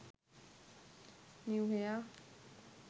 new hair